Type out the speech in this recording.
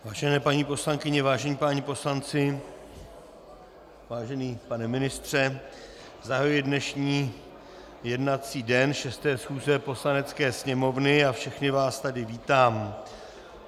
Vážené paní poslankyně, vážení páni poslanci, vážený pane ministře, zahajuji dnešní jednací den 6. chůze Poslanecké sněmovny a všechny vás tady vítám.